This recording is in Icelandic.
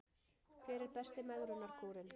Hver er besti megrunarkúrinn